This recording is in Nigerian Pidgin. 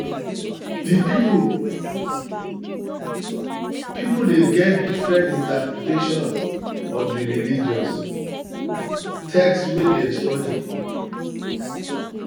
pipo de get different interpretation of di religious um text wey dem study dem study